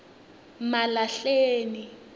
malahleni